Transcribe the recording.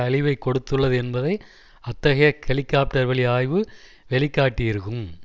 அழிவை கொடுத்துள்ளது என்பதை அத்தகைய ஹெலிகாப்டர் வழி ஆய்வு வெளிக்காட்டியிருக்கும்